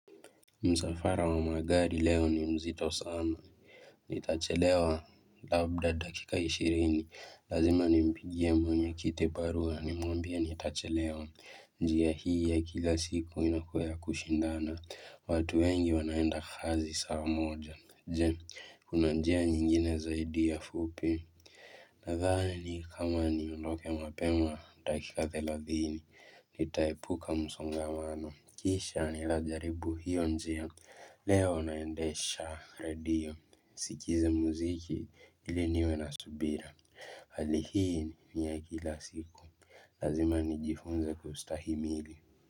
Msafara wa magari leo ni mzito sana, nitachelewa labda dakika ishirini, lazima nimpigie mwenye kiti barua nimwambie nitachelewa, njia hii ya kila siku inakuwa ya kushindana, watu wengi wanaenda kazi saa moja, je, kuna njia nyingine zaidi ya fupi? Nadhani kama niondoke mapema, dakika thelathini, nitaepuka msongamano, kisha nitajaribu hiyo njia, leo naendesha radio, sikize muziki ili niwe na subira, hali hii ni ya kila siku, lazima nijifunze kustahimili.